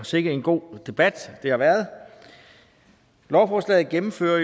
sikke en god debat det har været lovforslaget gennemfører